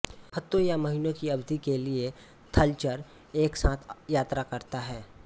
फ्तों या महीनों की अवधि के लिए थलचर एक साथ यात्रा करता है